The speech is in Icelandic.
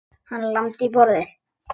Hann lamdi í borðið.